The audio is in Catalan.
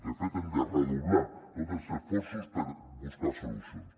de fet hem de redoblar tots els esforços per buscar solucions